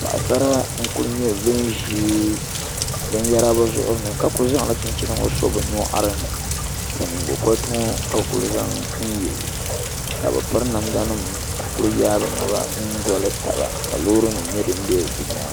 Paɣasara n ku nyɛ bin ʒi binyɛra bi zuɣuri ni ka ku zaŋla chinchina ŋɔ so bi nyoɣari ni ka nyingokoriti ŋɔ ka bi ku zaŋ n yɛ ka bi piri namda nim ka ku yaai bi naba m doli taba ka loori nim nyɛ din bɛ bi nyaanga